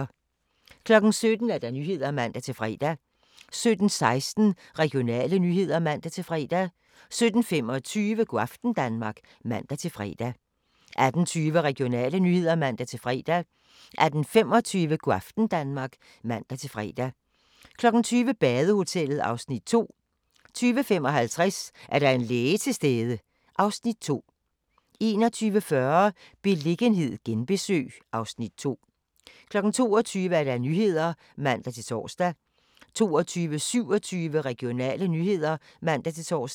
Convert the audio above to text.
17:00: Nyhederne (man-fre) 17:16: Regionale nyheder (man-fre) 17:25: Go' aften Danmark (man-fre) 18:20: Regionale nyheder (man-fre) 18:25: Go' aften Danmark (man-fre) 20:00: Badehotellet (Afs. 2) 20:55: Er der en læge til stede? (Afs. 2) 21:40: Beliggenhed genbesøg (Afs. 2) 22:00: Nyhederne (man-tor) 22:27: Regionale nyheder (man-tor)